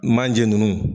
Manje nunnu